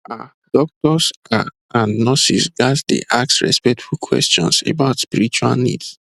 ah doctors ah and nurses ghats dey ask respectful questions about spiritual needs